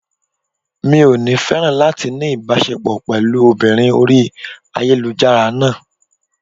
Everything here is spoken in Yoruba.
Mi ò ní féràn láti ní ìbáṣepọ̀ pẹ̀lú obìnrin orí ayélujára náà.